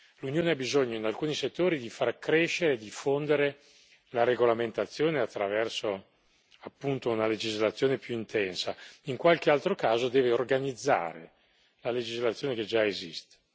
L'Unione ha bisogno in alcuni settori di far crescere e diffondere la regolamentazione attraverso una legislazione più intensa in qualche altro caso deve organizzare la legislazione che già esiste.